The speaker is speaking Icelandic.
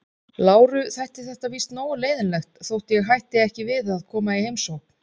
Láru þætti þetta víst nógu leiðinlegt þótt ég hætti ekki við að koma í heimsókn.